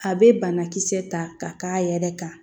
A bɛ banakisɛ ta ka k'a yɛrɛ kan